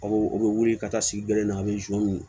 Aw u bɛ wuli ka taa sigi gere in na a bɛ